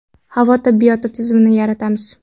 Havo tibbiyoti tizimini yaratamiz.